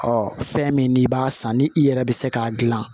fɛn min n'i b'a san ni i yɛrɛ bɛ se k'a dilan